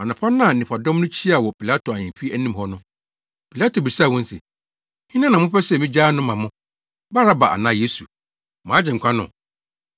Anɔpa no a nnipadɔm no hyiaa wɔ Pilato ahemfi anim hɔ no, Pilato bisaa wɔn se, “Hena na mopɛ sɛ migyaa no ma mo, Baraba anaa Yesu, mo Agyenkwa no?”